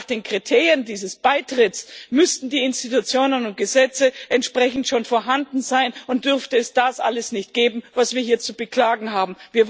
Denn nach den Kriterien dieses Beitritts müssten die Institutionen und Gesetze entsprechend schon vorhanden sein und demnach dürfte es das alles nicht geben, was wir hier zu beklagen haben.